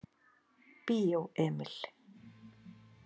Bíó Emil.